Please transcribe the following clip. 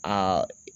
Aa